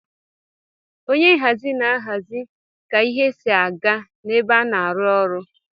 Onye nhazi na enye aka ihazi ka ihe si aga na ebe ana arụ ọrụ.